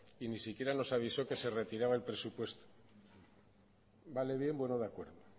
y ni siquiera nos avisó que se retiraba el presupuesto vale bien bueno de acuerdo